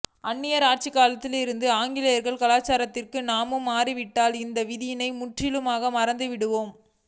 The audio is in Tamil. அன்னியர் ஆட்சிக் காலத்தில் இருந்து ஆங்கிலேய கலாசாரத்திற்கு நாமும் மாறிவிட்டதால் இந்த விதிகளை முற்றிலுமாக மறந்துவிட்டோம்